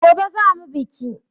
Gobe za mu biki.